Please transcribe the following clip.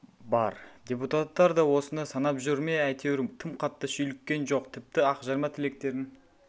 бар депутаттар да осыны санап жүр ме әйтеуір тым қатты шүйліккен жоқ тіпті ақжарма тілектерін